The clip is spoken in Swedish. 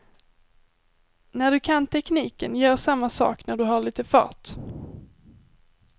När du kan tekniken, gör samma sak när du har lite fart.